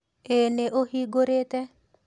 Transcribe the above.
Ĩĩ nĩ ũhingũrĩte